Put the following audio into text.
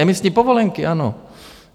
Emisní povolenky, ano.